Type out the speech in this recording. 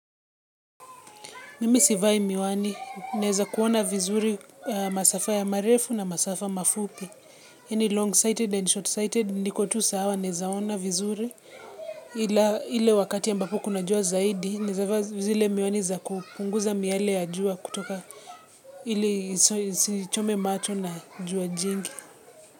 Mimi sivai miwani, naweza kuona vizuri masafa ya marefu na masafa mafupi. Yani long-sighted and short-sighted. Nikotu sawa nawezaona vizuri. Ila wakati ambapo kunajua zaidi, nawezafaa zile miwani za kupunguza miale ya jua kutoka ili nisichome macho na jua jingi.